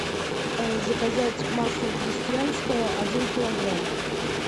заказать масло крестьянское один килограмм